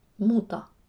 Muta.